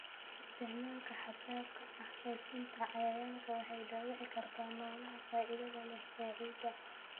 Isticmaalka xad-dhaafka ah ee sunta cayayaanka waxay dhaawici kartaa noolaha faa'iidada leh ee ciidda.